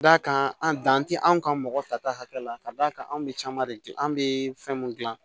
D'a kan an dan tɛ anw ka mɔgɔ ta ta hakɛ la ka d'a kan anw bɛ caman de an bɛ fɛn mun gilan